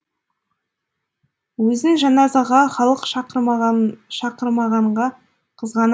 өзін жаназаға халық шақырмағанға қызғана